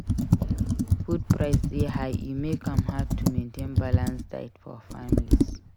Food price dey high e make am hard to maintain balanced diet for families.